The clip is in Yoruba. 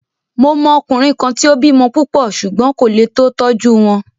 Mo mọ ọkùnrin kan tí o bímọ púpọ̀ ṣùgbón kò lé tó tọ́jú wọn.